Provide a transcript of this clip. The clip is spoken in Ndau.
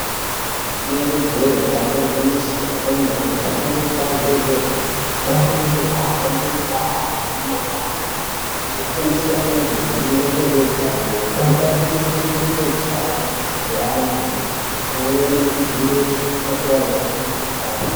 Rinenge je damba igwinyiso antu anoshanda kubazi rezvehutano anokurudzirwa kuhambe mundaa nemumagange achifundisa antu maringe nezvehutano zvinobatsira kuchengetedza hutano hwevantu pamweni nekudzivirira kutapurana kwemukuhlani.